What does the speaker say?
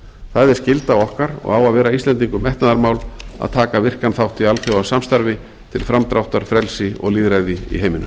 það er skylda okkar og á að vera íslendingum metnaðarmál að taka virkan þátt í alþjóðasamstarfi til framdráttar frelsi og lýðræði í heiminum